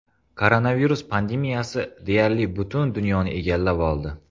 Koronavirus pandemiyasi deyarli butun dunyoni egallab oldi.